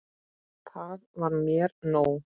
Það var mér nóg.